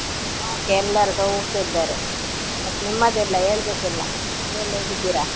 ಎಲ್ಲರೂ ಸೌಖ್ಯ ಇದ್ದಾರೆ, ಮತ್ ನಿಮ್ಮದೆಲ್ಲಾ ಹೇಳ್ಬೇಕ್ ಎಲ್ಲ, ನೀವೆಲ್ಲ ಹೇಗಿದ್ದೀರಾ?